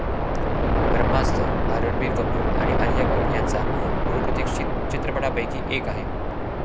ब्रह्मास्त्र' हा रणबीर कपूर आणि आलिया भट यांचा बहुप्रतीक्षित चित्रपटांपैकी एक आहे.